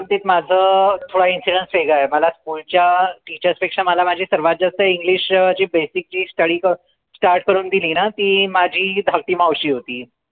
च्या बाबतीत माझं थोडा incidence वेगळा आहे मला पुढच्या teachers पेक्षा मला माझी सर्वात जास्त english अह जे basic ची study start करून दिली ना ती माझी धाकटी मावशी होती